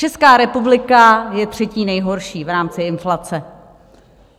Česká republika je třetí nejhorší v rámci inflace.